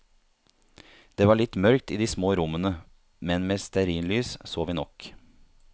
Det var litt mørkt i de små rommene, men med stearinlys så vi nok.